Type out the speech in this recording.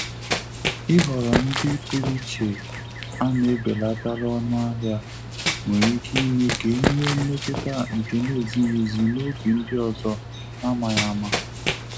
Ị́ họ̀rọ̀ ndị pụrụ iche a na-ebelatalụ ọnụahịa nwere ike ime ka e nwee mmetụta nke na-ezighị ezi n'obi ndị ọzọ n'amaghị ama.